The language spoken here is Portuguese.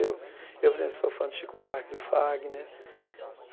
eu por exemplo, sou fã do Chico Buarque, do Fagner.